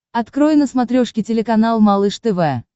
открой на смотрешке телеканал малыш тв